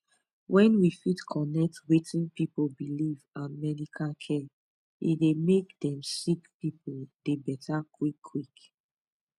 wen we fit connect wetin pipu believe and medical care e dey make dem sick pipu dey beta quick quick